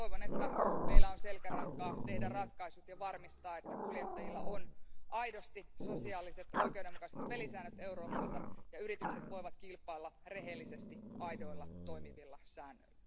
Toivon, että meillä on selkärankaa tehdä ratkaisut ja varmistaa, että kuljettajilla on aidosti sosiaaliset oikeudenmukaiset pelisäännöt Euroopassa ja yritykset voivat kilpailla rehellisesti aidoilla toimivilla säännöillä.